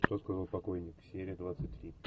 что сказал покойник серия двадцать три